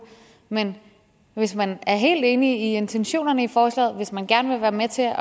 men hvis man er helt enig i intentionerne i forslaget hvis man gerne vil være med til at